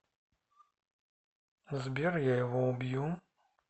сбер я его убью